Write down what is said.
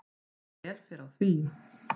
Vel fer á því.